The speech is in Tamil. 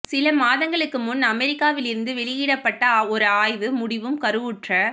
சில மாதங்களுக்கு முன் அமெரிக்காவிலிருந்து வெளியிடப்ப்ட்ட ஒரு ஆய்வு முடிவும் கருவுற்ற